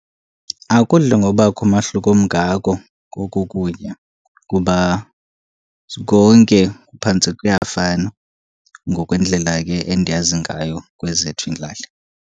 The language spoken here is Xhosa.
Akudli ngobakho umahluko omngako koku kutya, kuba konke kuphantse kuyafana, ngokwendlela ke endiyazi ngayo kwezethu iilali.